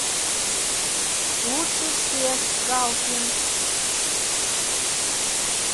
лучше всех галкин